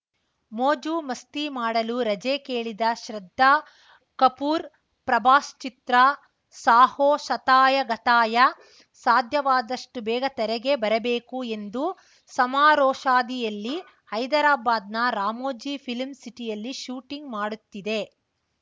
ಮೋಜು ಮಸ್ತಿ ಮಾಡಲು ರಜೆ ಕೇಳಿದ ಶ್ರದ್ಧಾ ಕಪೂರ್‌ ಪ್ರಭಾಸ್‌ ಚಿತ್ರ ಸಾಹೋ ಶತಾಯಗತಾಯ ಸಾಧ್ಯವಾದಷ್ಟುಬೇಗ ತೆರೆಗೆ ಬರಬೇಕು ಎಂದು ಸಮರೋಷಾದಿಯಲ್ಲಿ ಹೈದರಾಬಾದ್‌ನ ರಾಮೋಜಿ ಫಿಲ್ಮ್‌ ಸಿಟಿಯಲ್ಲಿ ಶೂಟಿಂಗ್‌ ಮಾಡುತ್ತಿದೆ